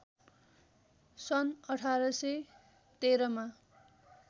सन् १८१३ मा